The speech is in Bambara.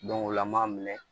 o la an m'a minɛ